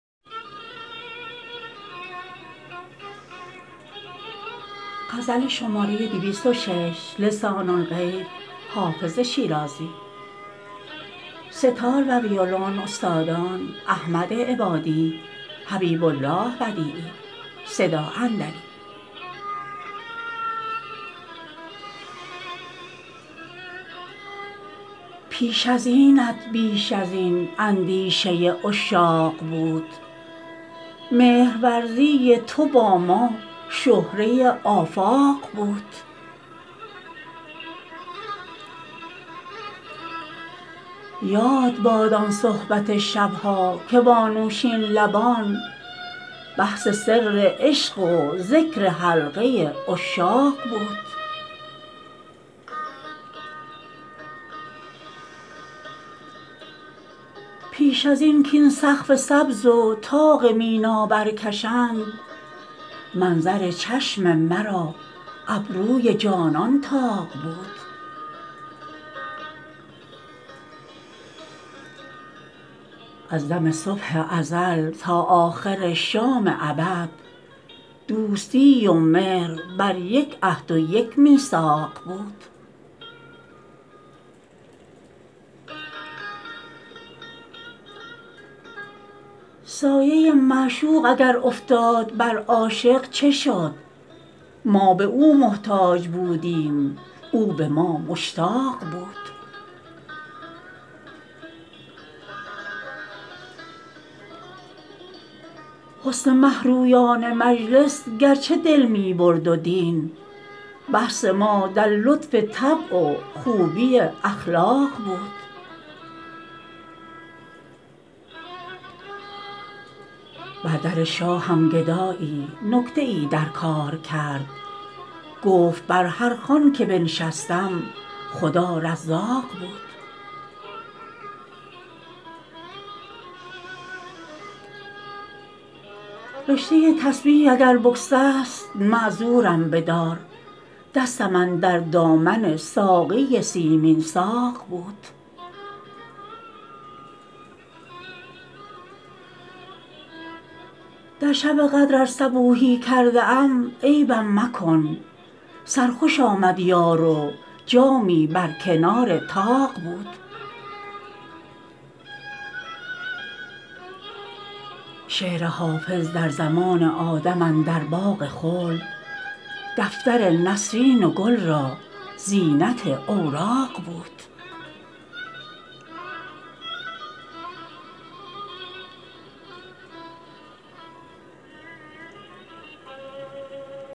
پیش از اینت بیش از این اندیشه عشاق بود مهرورزی تو با ما شهره آفاق بود یاد باد آن صحبت شب ها که با نوشین لبان بحث سر عشق و ذکر حلقه عشاق بود پیش از این کاین سقف سبز و طاق مینا برکشند منظر چشم مرا ابروی جانان طاق بود از دم صبح ازل تا آخر شام ابد دوستی و مهر بر یک عهد و یک میثاق بود سایه معشوق اگر افتاد بر عاشق چه شد ما به او محتاج بودیم او به ما مشتاق بود حسن مه رویان مجلس گرچه دل می برد و دین بحث ما در لطف طبع و خوبی اخلاق بود بر در شاهم گدایی نکته ای در کار کرد گفت بر هر خوان که بنشستم خدا رزاق بود رشته تسبیح اگر بگسست معذورم بدار دستم اندر دامن ساقی سیمین ساق بود در شب قدر ار صبوحی کرده ام عیبم مکن سرخوش آمد یار و جامی بر کنار طاق بود شعر حافظ در زمان آدم اندر باغ خلد دفتر نسرین و گل را زینت اوراق بود